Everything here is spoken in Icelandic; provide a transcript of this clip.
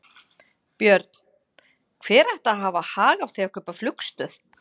Björn: Hver ætti að hafa hag af því að kaupa flugstöð?